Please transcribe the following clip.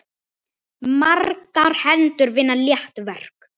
Margar hendur vinna létt verk!